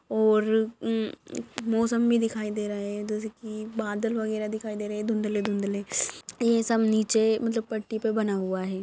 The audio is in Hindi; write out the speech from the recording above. और मम् मौसम भी दिखाई दे रहा है जैसे की बादल वगैरा दिखाई दे रहे है धुंदले धुंदले ये सब नीचे मतलब पट्टी पे बन हुआ है।